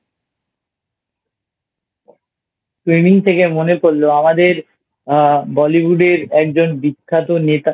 Swimming শুনে মনে পড়লো আমাদের Bollywood এর একজন বিখ্যাত অভিনেতা